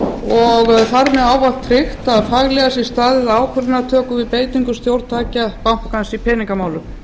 og þar með ávallt fylgt að faglega sé staðið að ákvarðanatöku við beitingu stjórntækja bankans í peningamálum